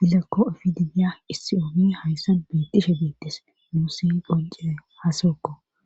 dilakko fididiya issi oomi hayssa beettishe beettis nuusi gonce haaseokko